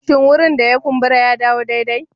Shin wurin da ya kumbura ya dawo daidai?